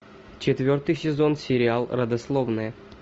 четвертый сезон сериал родословная